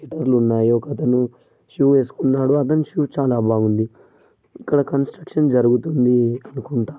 ఒక అతను షూ ఏసుకున్నాడు అతని షూ చాలా బాగుంది. ఇక్కడ కన్స్ట్రక్షన్ జరుగుతుంది అనుకుంట.